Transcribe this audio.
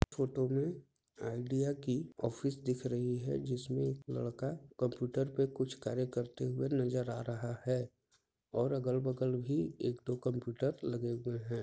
Photo में Idea की office दिख रही है जिसमें एक लड़का कंप्यूटर पे कुछ कार्य करते हुए नजर आ रहा है और अगल-बगल भी एक दो कंप्यूटर लगे हुए हैं।